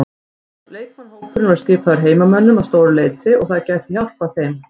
Leikmannahópurinn er skipaður heimamönnum að stóru leyti og það gæti hjálpað þeim.